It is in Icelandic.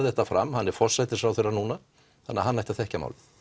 þetta fram hann er forsætisráðherra núna þannig að hann ætti að þekkja málið